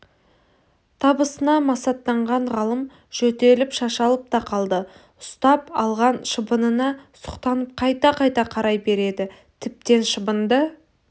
табысына масаттанған ғалым жөтеліп шашалып та қалды ұстап алған шыбынына сұқтанып қайта-қайта қарай береді тіптен шыбынды